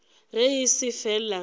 ge e se fela ge